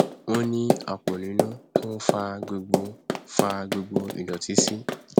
ó ní àpọ nínú tó nfa gbogbo nfa gbogbo ìdọtí sí